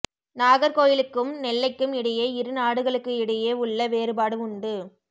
நாகர்கோயிலுக்கும் நெல்லைக்கும் இடையே இரு நாடுகளுக்கு இடையே உள்ள வேறுபாடு உண்டு